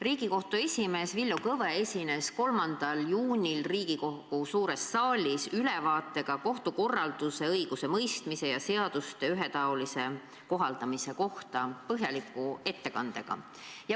Riigikohtu esimees Villu Kõve esines 3. juunil Riigikogu suures saalis ülevaatega kohtukorralduse, õigusemõistmise ja seaduste ühetaolise kohaldamise kohta, tehes põhjaliku ettekande.